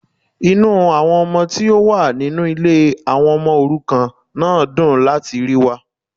Inú àwọn ọmọ tí ó wà nínú Ilé àwon omo òrukàn náà dùn láti ríi wa